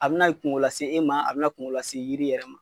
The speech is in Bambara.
A bi na kuŋo lase e ma a bi na kuŋo lase yiri yɛrɛ ma.